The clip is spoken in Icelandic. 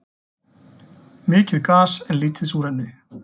Mikið gas en lítið súrefni